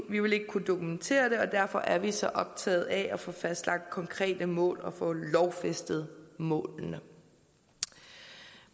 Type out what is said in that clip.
vil ikke kunne dokumentere det og derfor er vi så optaget af at få fastlagt konkrete mål og få lovfæstet målene